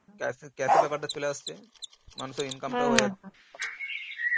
cash এর cash এর ব্যাপারটা চলে আসছে মানুষ